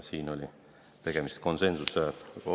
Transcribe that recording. Siinkohal oli tegemist konsensusliku otsusega.